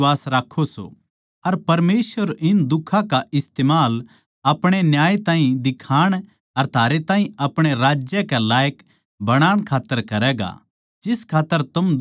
अर परमेसवर इन दुखां का इस्तमाल अपणे न्याय ताहीं दिखाण अर थारे ताहीं अपणे राज्य के लायक बणाण खात्तर करैगा जिस खात्तर थम दुख भी ठाओ सो